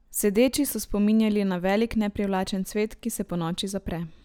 Sedeči so spominjali na velik neprivlačen cvet, ki se ponoči zapre.